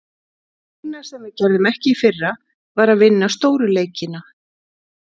Eina sem við gerðum ekki í fyrra, var að vinna stóru leikina.